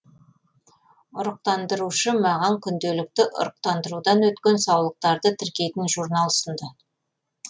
ұрықтандырушы маған күнделікті ұрықтандырудан өткен саулықтарды тіркейтін журнал ұсынды